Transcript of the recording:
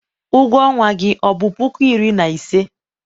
ụgwọ ọnwa gị ọ bụ puku iri na ise?